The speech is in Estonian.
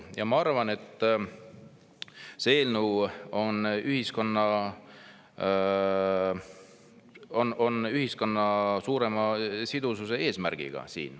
Ja ma arvan, et selle eelnõu eesmärk on ühiskonna suurem sidusus.